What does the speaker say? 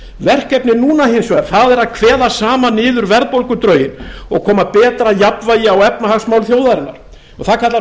verkefnið núna hins vegar er að kveða saman niður verðbólgudrauginn og koma betra jafnvægi á efnahagsmál þjóðarinnar það kallar á